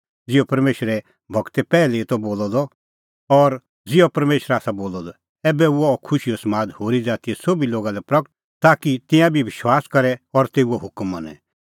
ज़िहअ परमेशरे गूरै पैहलै ई त बोलअ द और ज़िहअ परमेशरै आसा बोलअ द ऐबै हुअ अह खुशीओ समाद होरी ज़ातीए सोभी लोगा लै प्रगट ताकि तिंयां बी विश्वास करे और तेऊए हुकम मनें